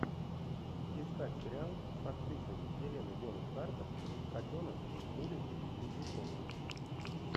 искать сериал с актрисой хеленой бонем картер котенок с улицы лизюкова